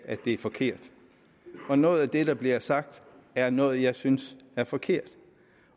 at det er forkert og noget af det der bliver sagt er noget jeg synes er forkert